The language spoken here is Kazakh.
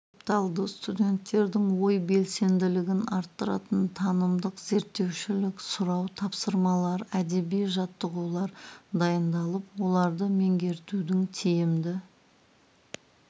талды студенттердің ой белсенділігін арттыратын танымдық зерттеушілік сұрау тапсырмалар әдеби жаттығулар дайындалып оларды меңгертудің тиімді